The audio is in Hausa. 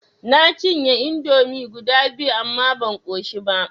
Na cinye indomi guda biyu amma ban ƙoshi ba.